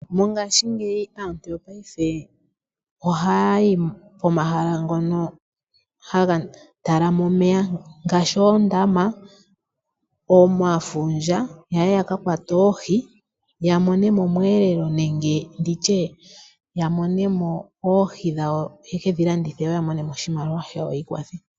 Mongashingeyi aantu yopaife ohayayi pomahala ngoka haga talama omeya, ngaashi oondama, omafundja yaye yakakwate oohi yamone mo omwelelo nenge nditye yamone mo oohi dhawo yekedhi landithe yo yamone mo oshimaliwa shawo yiikwathe.